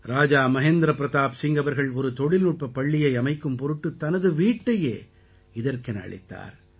ராஜா மஹேந்திர பிரதாப் சிங் அவர்கள் ஒரு தொழில்நுட்பப் பள்ளியை அமைக்கும் பொருட்டு தனது வீட்டையே இதற்கென அளித்தார்